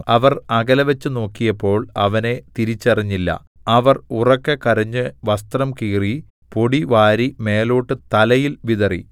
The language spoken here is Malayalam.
അവർ അകലെവച്ച് നോക്കിയപ്പോൾ അവനെ തിരിച്ചറിഞ്ഞില്ല അവർ ഉറക്കെ കരഞ്ഞ് വസ്ത്രം കീറി പൊടി വാരി മേലോട്ട് തലയിൽ വിതറി